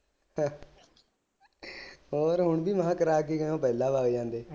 ਹੈ ਹੋਰ ਕਰਾ ਕੇ ਗਏ ਪਹਿਲਾਂ ਲਗ ਜਾਂਦੇ